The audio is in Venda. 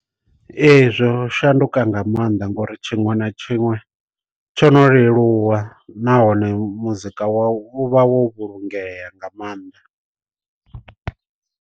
Ee zwo shanduka nga maanḓa ngori tshiṅwe na tshiṅwe tsho no leluwa nahone muzika wau u vha wo vhulungea nga maanḓa.